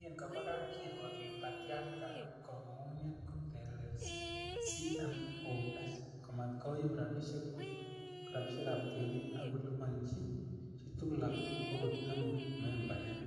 "Yekin koba kapkirwok Liberty Afrika koib kong'unyng'unyet kotelelsi CMOs komat koyum rabishekab tienik ak koliponi chi tugul okot nemo membayat,"